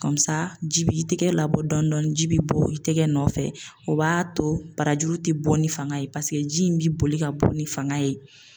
ji bi tigɛ labɔ dɔɔnin dɔɔnin ji bi bɔ i tɛgɛ nɔfɛ, o b'a to barajuru ti bɔ ni fanga ye, paseke ji in bi boli ka bɔ ni fanga ye.